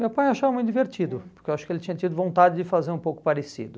Meu pai achava muito divertido, porque eu acho que ele tinha tido vontade de fazer um pouco parecido.